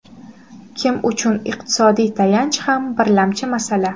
Kim uchun iqtisodiy tayanch ham birlamchi masala.